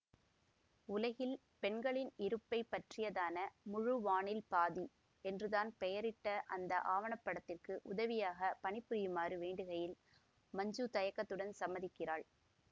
உலகில் பெண்களின் இருப்பை பற்றியதான முழு வானில் பாதி என்று தான் பெயரிட்ட அந்த ஆவணப்படத்திற்கு உதவியாகப் பணி புரியுமாறு வேண்டுகையில் மஞ்சு தயக்கத்துடன் சம்மதிக்கிறாள்